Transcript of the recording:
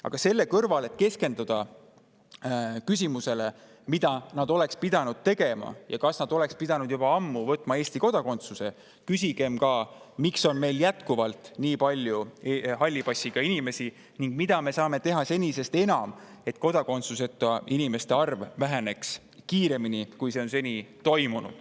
Aga selle kõrval, et keskenduda küsimusele, mida nad oleksid pidanud tegema ja kas nad oleks pidanud juba ammu võtma Eesti kodakondsuse, küsigem ka, miks meil on jätkuvalt nii palju halli passiga inimesi ning mida me saame senisest enam teha selleks, et kodakondsuseta inimeste arv väheneks kiiremini, kui see on seni toimunud.